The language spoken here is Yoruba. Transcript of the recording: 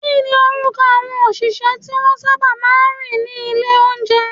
Kíni orúkọ àwọn òṣìṣẹ́ tí wọ́n sábà máa ń rí ní ilé oúnjẹ?